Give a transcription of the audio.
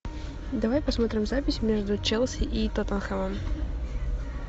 давай посмотрим запись между челси и тоттенхэмом